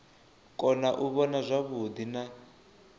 kona u vhona zwavhuḓi na